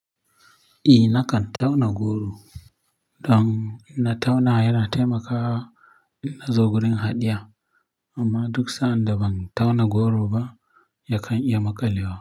Eh nakan tauna goro. Don na tauna yana taimaka in na zo wurin haɗiya amma duk sa'adda ban tauna goro ba yakan iya maƙalewa.